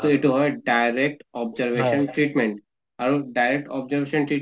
সেইটো হয় direct observative treatment আৰু direct observative treatment